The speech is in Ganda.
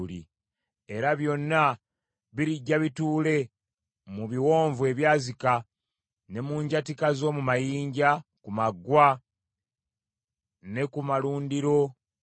Era byonna birijja bituule mu biwonvu ebyazika, ne mu njatika z’omu mayinja, ku maggwa, ne ku malundiro gonna.